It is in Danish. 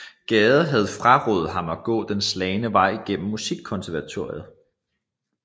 Gade havde frarådet ham at gå den slagne vej gennem Musikkonservatoriet